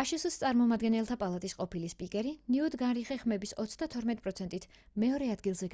აშშ-ს წარმომადგენელთა პალატის ყოფილი სპიკერი ნიუტ გინგრიხი ხმების 32%-ით მეორე ადგილზე